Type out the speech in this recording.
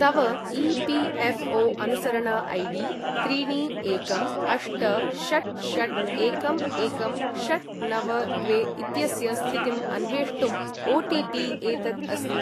तव ई.पी.एफ़्.ओ.अनुसरण I D त्रीणि एकं अष्ट षट् षट् एकं एकं षट् नव द्वे इत्यस्य स्थितिम् अन्वेष्टुम् ओटिपि एतत् अस्ति।